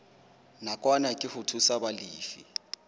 nakwana ke ho thusa balefi